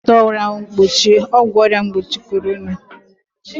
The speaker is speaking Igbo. Ana m enweta ọgwụ mgbochi ọrịa corona